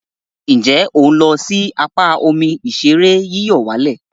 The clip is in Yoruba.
Nje o n lo si apa omi ìṣeré yíyọ̀wálẹ̀?